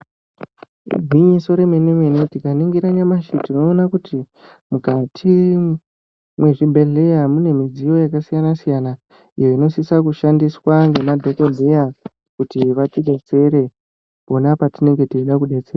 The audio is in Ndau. Gwinyiso remene mene, tikaningira nyamashi tinoona kuti mwukati mwezvibhedhleya mune midziyo yakasiyana siyana iyo inosisa kushandiswa ngemadhokodheya kuti vatidetsere pona patinenge teida kudetserwa.